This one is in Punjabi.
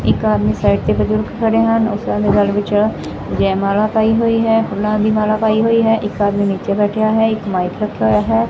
ਇੱਕ ਆਦਮੀ ਸਾਈਡ ਤੇ ਬੁਜੁਰਗ ਖੜੇ ਹਨ ਉਸ ਓਹਨਾ ਦੇ ਗਲ ਵਿਚ ਜੈਮਾਲਾ ਪਾਈ ਹੋਈ ਹੈ ਫੂਲਾਂ ਦੀ ਮਾਲਾ ਪਾਈ ਹੋਈ ਹੈ ਇੱਕ ਆਦਮੀ ਨੀਚੇ ਬੈਠਿਆ ਹੈ ਇੱਕ ਮਾਈਕ ਰੱਖਿਆ ਹੋਇਆ ਹੈ।